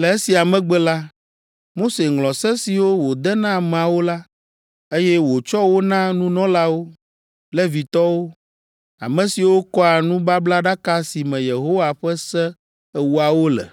Le esia megbe la, Mose ŋlɔ se siwo wòde na ameawo la, eye wòtsɔ wo na nunɔlawo, Levitɔwo, ame siwo kɔa nubablaɖaka si me Yehowa ƒe Se Ewoawo le.